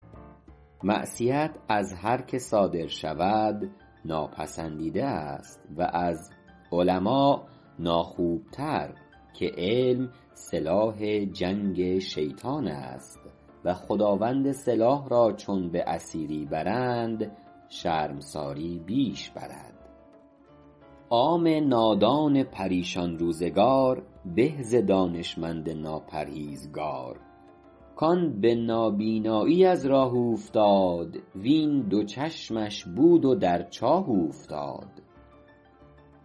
معصیت از هر که صادر شود ناپسندیده است و از علما ناخوبتر که علم سلاح جنگ شیطان است و خداوند سلاح را چون به اسیری برند شرمساری بیش برد عام نادان پریشان روزگار به ز دانشمند ناپرهیزگار کآن به نابینایی از راه اوفتاد وین دو چشمش بود و در چاه اوفتاد